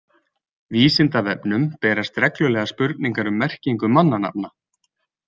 Vísindavefnum berast reglulega spurningar um merkingu mannanafna.